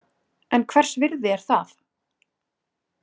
En hvers virði er það?